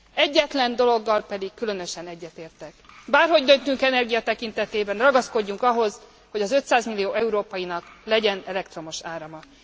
Egyetlen dologgal pedig különösen egyetértek bárhogy döntünk energia tekintetében, ragaszkodjunk ahhoz, hogy az 500 millió európainak legyen elektromos árama.